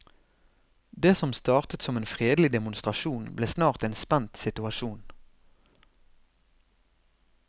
Det som startet som en fredelig demonstrasjon, ble snart en spent situasjon.